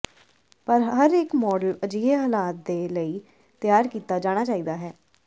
ਪਰ ਹਰ ਇੱਕ ਮਾਡਲ ਅਜਿਹੇ ਹਾਲਾਤ ਦੇ ਲਈ ਤਿਆਰ ਕੀਤਾ ਜਾਣਾ ਚਾਹੀਦਾ ਹੈ